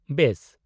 ᱵᱮᱥ ᱾